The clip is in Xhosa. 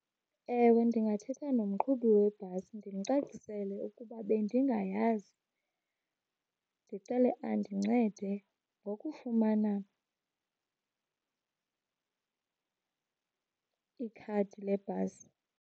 Ewe, ndingathetha nomqhubi webhasi ndimcacisele ukuba bendingayazi. Ndicele andincede ngokufumana ikhadi lebhasi.